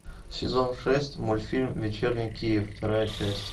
сезон шесть мультфильм вечерний киев вторая часть